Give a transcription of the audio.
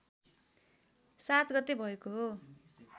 ७ गते भएको हो